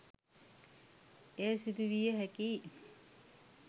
එය සිදු විය හැකිය.